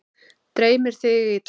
Dreymdi þig illa?